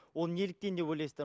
ол неліктен деп ойлайсыздар